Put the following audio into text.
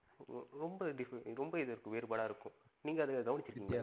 ரொம்ப different ஆ ரொம்ப வேறுபாடா இருக்கும். நீங்க அத கவனிச்சி இருக்கீங்களா?